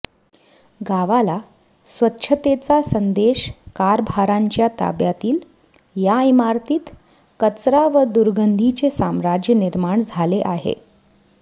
गावाला स्वच्छतेचा संदेश कारभार्यांच्या ताब्यातील या इमारतीत कचरा व दुर्गंधीचे साम्राज्य निर्माण झाले आहे